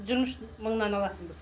жиырма үш мыңнан алатынбыз